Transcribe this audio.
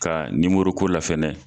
Ka ni nimoro ko la fɛnɛ.